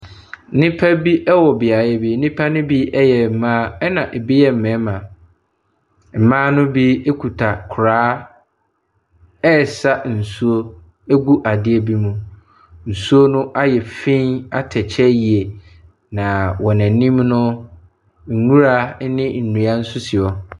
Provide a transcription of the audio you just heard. Nnipa bi wɔ beaeɛ bi. Nnipa no bi yɛ mmaa, ɛna ɛbi yɛ mmarima. Mmaa no bi kuta koraa resa nsuo gu adeɛ bi mu. Nsuo no ayɛ fi atɛkyɛ yie, na wɔn anim no, nwura ne nnua nso si hɔ.